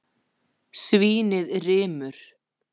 Svínið rymur.